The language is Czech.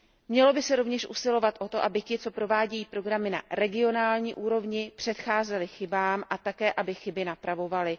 Mělo by se rovněž usilovat o to, aby ti, co provádějí programy na regionální úrovni, předcházeli chybám a také, aby chyby napravovali.